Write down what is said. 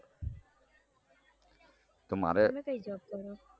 તો મારે તમે કઈ job કરો